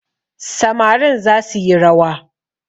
Samarin za suyi rawa